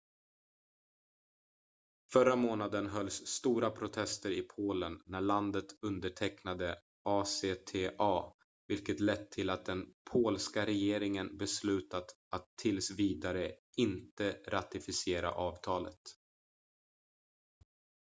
förra månaden hölls stora protester i polen när landet undertecknade acta vilket lett till att den polska regeringen beslutat att tills vidare inte ratificera avtalet